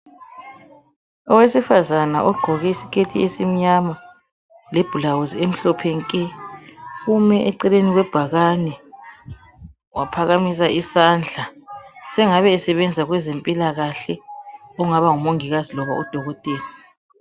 Owesifazana ugqoke isiketi esimnyama lebhulawuzi emhlophe nke ume eceleni kwebhakane waphakamiaa isandla. Sengabe esebenza kwezempilakahle kungaba ngumongikazi kumbe udokotela.